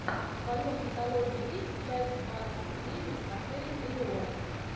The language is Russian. в твоем каталоге есть часть двадцать девять отель элеон